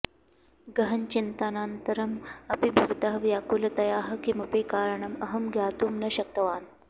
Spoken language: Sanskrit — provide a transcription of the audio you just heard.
गहनचिन्तनान्तरम् अपि भवतः व्याकुलतायाः किमपि कारणम् अहं ज्ञातुं न शक्तवान्